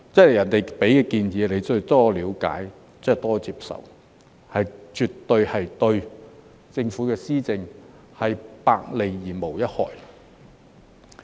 別人給你建議，你就要多了解、多接受，這絕對是對政府的施政百利而無一害。